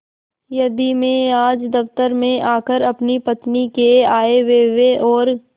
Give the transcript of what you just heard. यदि मैं आज दफ्तर में आकर अपनी पत्नी के आयव्यय और